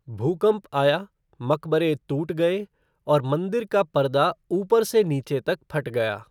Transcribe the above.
भूकंप आया, मकबरे टूट गए और मंदिर का पर्दा ऊपर से नीचे तक फट गया।